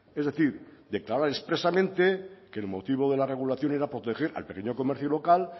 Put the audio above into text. es decir declarar expresamente que el motivo de la regulación era proteger al pequeño comercio local